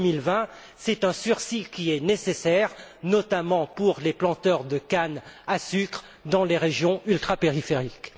2020. C'est un sursis qui est nécessaire, notamment pour les planteurs de canne à sucre dans les régions ultrapériphériques.